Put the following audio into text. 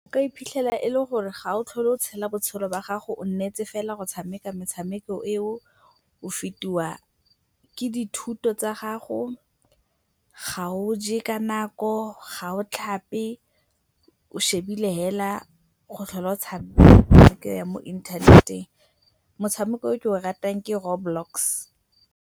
O ka iphitlhela e le gore ga o tlhole o tshela botshelo jwa gago o nnetse fela go tshameka metshameko eo, o fetiwa ke dithuto tsa gago, ga o je ka nako, ga o tlhape, o lebile fela go tlhola o tshameka metshameko ya mo internet-eng. Motshameko o ke o ratang ke Row Blocks.